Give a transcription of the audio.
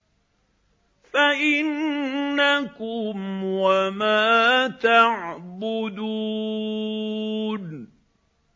فَإِنَّكُمْ وَمَا تَعْبُدُونَ